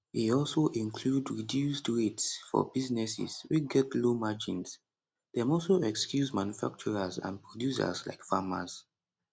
e also include reduced rates for businesses wey get low margins dem also excuse manufacturers and producers like farmers